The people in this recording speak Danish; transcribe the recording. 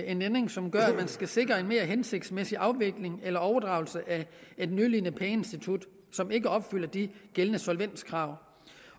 en ændring som gør at man kan sikre en mere hensigtsmæssig afvikling eller overdragelse af et nødlidende pengeinstitut som ikke opfylder de gældende solvenskrav